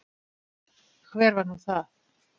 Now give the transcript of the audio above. Hver var nú það?